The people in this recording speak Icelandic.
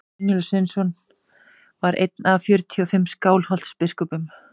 brynjólfur sveinsson var einn af fjörutíu og fimm skálholtsbiskupum